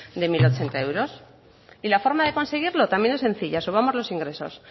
de mil ochenta euros y la forma de conseguirlo también es sencilla subamos los ingresos